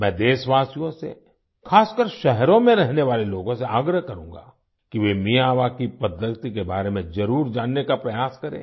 मैं देशवासियों से खासकर शहरों में रहने वाले लोगों से आग्रह करूंगा कि वे मियावाकी पद्धति के बारे में जरुर जानने का प्रयास करें